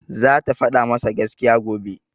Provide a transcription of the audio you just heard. Zata faɗa masa gaskiya, gobe.